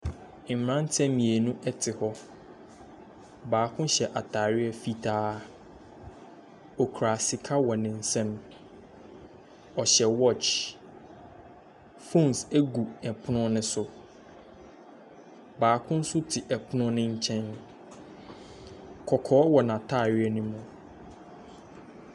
Mmeranteɛ mmienu te hɔ, baako hyɛ ataare fitaa, okura sika wɔ ne nsamu, ɔhyɛ watch, phone gu pono ne so. Baako nso te pono ne nkyɛn, kɔkɔɔ wɔ n’ataare ne mu.